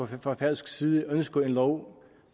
fra færøsk side ønsker en lov